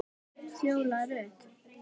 Fjóla Rut.